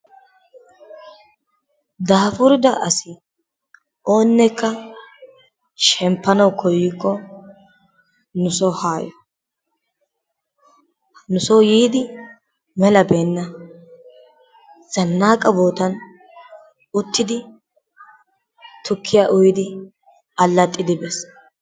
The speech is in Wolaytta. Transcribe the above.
Daafurida asi oonnekka shemppanawu koyikko nu soo haa yo. Nu soo yiidi mela beena ,zannaaqqa boottan uttidi tukkiya uyidi alaxxidi bees.